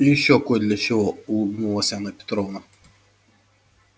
и ещё кой для чего улыбнулась анна петровна